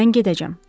Mən gedəcəm.